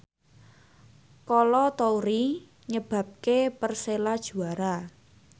Kolo Toure nyebabke Persela juara